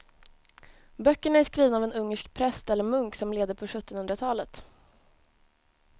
Böckerna är skrivna av en ungersk präst eller munk som levde på sjuttonhundratalet.